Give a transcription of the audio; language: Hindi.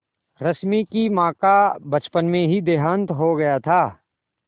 रश्मि की माँ का बचपन में ही देहांत हो गया था